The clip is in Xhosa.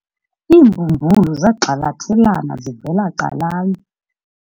Iimbumbulu zagxalathelana zivela calanye.